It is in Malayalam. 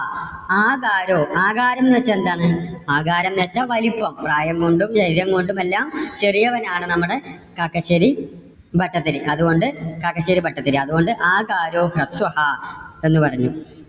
ആകാരോ, ആകാരോന്നുവെച്ചാൽ എന്താണ്? ആകാരംന്ന് വെച്ചാൽ വലുപ്പം പ്രായം കൊണ്ടും ഉയരം കൊണ്ടുമെല്ലാം ചെറിയവൻ ആണ് നമ്മുടെ കാക്കശ്ശേരി ഭട്ടതിരി. അതുകൊണ്ട് കാക്കശ്ശേരി ഭട്ടതിരി അതുകൊണ്ട് ആകാരോ ഹ്രസ്വഹാ എന്ന് പറഞ്ഞു.